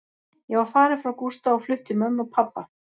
Ég var farin frá Gústa og flutt til mömmu og pabba.